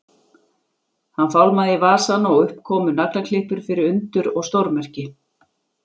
Hann fálmaði í vasann og upp komu naglaklippur fyrir undur og stórmerki.